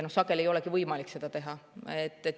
Sageli ei olegi võimalik seda teha.